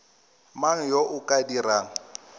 mang yo o ka dirang